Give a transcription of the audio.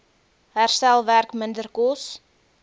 herstelwerk minder kos